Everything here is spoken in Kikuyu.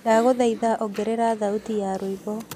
ndagũthaĩtha ongerera thaũtĩ ya rwĩmbo